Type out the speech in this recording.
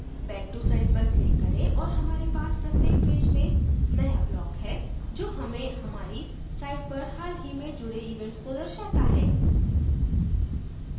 back to site पर click करें और हमारे पास प्रत्येक पेज में नया block है जो हमें हमारी site पर हाल ही में जुडे events को दर्शाता है